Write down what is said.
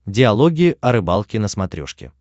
диалоги о рыбалке на смотрешке